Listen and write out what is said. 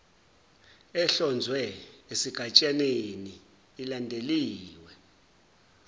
ehlonzwe esigatshaneni ilandeliwe